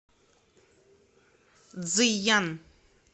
цзыян